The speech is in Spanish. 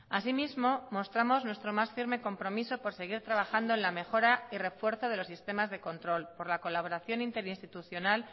asimismo mostramos nuestro más firme compromiso por seguir trabajando en la mejora y refuerzo de los sistemas de control por la colaboración interinstitucional